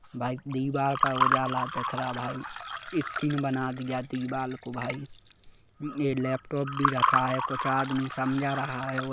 भाई दीवार पर उजाला दिख रहा भाई स्क्रीन बना दिया दीवाल को भाई यह लैपटॉप भी रखा है कुछ आदमी समझा रहा है।